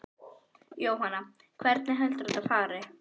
Jóhanna: Hvernig heldurðu að þetta fari?